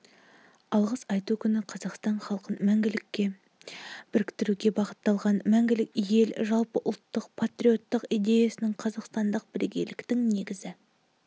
алғыс айту күні қазақстан халқын мәңгілікке біріктіруге бағытталған мәңгілік ел жалпыұлттық патриоттық идеясының қазақстандық бірегейліктің негізгі